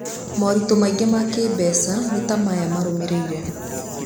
Moritũ mangĩ ma kĩĩmbeca nĩ ta aya marũmĩrĩre.